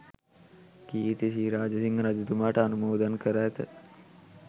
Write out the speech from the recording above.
කීර්ති ශ්‍රී රාජසිංහ රජතුමාට අනුමෝදන් කර ඇත